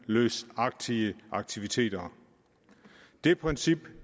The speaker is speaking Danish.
løsagtige aktiviteter det princip